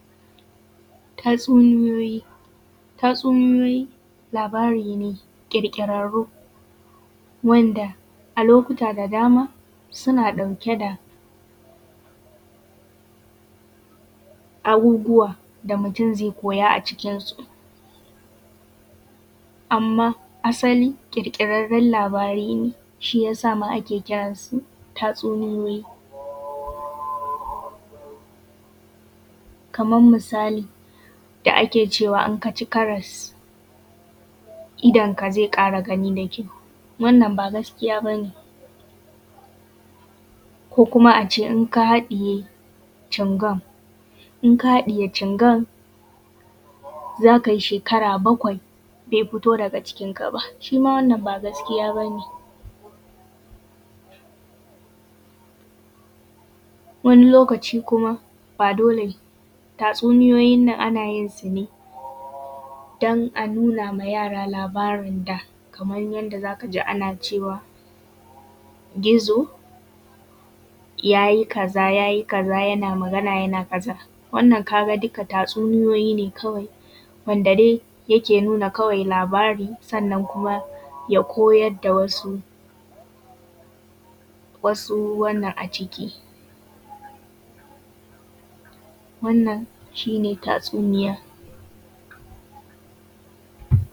tatsuniyoyi tatsuniyoyi labari ne ƙirƙirarru wanda a lokuta da dama suna ɗauke da abubuwa da mutum zai koya a cikinsu amman asali ƙirƙirarren labari ne shi ya sa ma ake kiran su tatsuniyoyi kaman misali da ake cewa in kah ci karas idonka zai ƙara gani da ji wannan ba gaskiya bane ko kuma a ce in ka haɗiye cingom za kai shekara bakwai bai fito daga cikin ka ba shima wannan ba gaskiya bane wani lokaci kuma ba dole tatsuniyoyin nan ana yin su ne don a nuna ma yara labarin da kaman yadda za ka ji ana cewa gizo ya yi kaza ya yi kaza yana magana yana kaza wannan ka ga duka tatsuniyoyi ne kawai wanda dai yake nuna labari sannan kuma ya koyar da wasu wannan a ciki wannan shi ne tatsuniya